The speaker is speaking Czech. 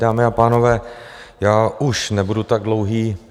Dámy a pánové, já už nebudu tak dlouhý.